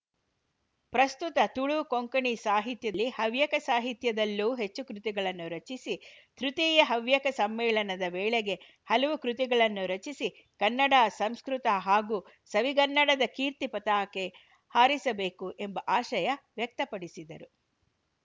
ಪ್ರಸ್ತುತ ತುಳು ಕೊಂಕಣಿ ಸಾಹಿತ್ಯದಲ್ಲಿ ಹೆಚ್ಚು ಗ್ರಂಥಗಳು ಬರುತ್ತಿವೆ ಅದೇ ರೀತಿಯಲ್ಲಿ ಹವ್ಯಕ ಸಾಹಿತ್ಯದಲ್ಲೂ ಹೆಚ್ಚು ಕೃತಿಗಳನ್ನು ರಚಿಸಿ ತೃತೀಯ ಹವ್ಯಕ ಸಮ್ಮೇಳನದ ವೇಳೆಗೆ ಹಲವು ಕೃತಿಗಳನ್ನು ರಚಿಸಿ ಕನ್ನಡ ಸಂಸ್ಕೃತ ಹಾಗೂ ಹವಿಗನ್ನಡದ ಕೀರ್ತಿ ಪತಾಕೆ ಆರಿಸಬೇಕು ಎಂಬ ಆಶಯ ವ್ಯಕ್ತಪಡಿಸಿದರು